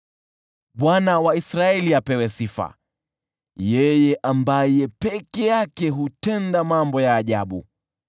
Bwana Mungu, Mungu wa Israeli, apewe sifa, yeye ambaye peke yake hutenda mambo ya ajabu.